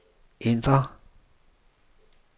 ændr